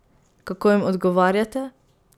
Kako jim odgovarjate?